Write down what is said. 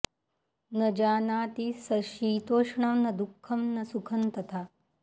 न जानाति स शीतोष्णं न दुःखं न सुखं तथा